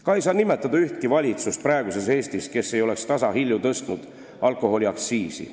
Ka ei saa nimetada ühtki valitsust praeguses Eestis, kes ei oleks tasahilju tõstnud alkoholiaktsiisi.